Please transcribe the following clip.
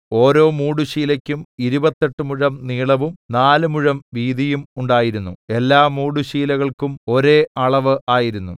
ഓരോ മൂടുശീലയ്ക്കും ഇരുപത്തെട്ട് മുഴം നീളവും നാല് മുഴം വീതിയും ഉണ്ടായിരുന്നു എല്ലാ മൂടുശീലകൾക്കും ഒരേ അളവ് ആയിരുന്നു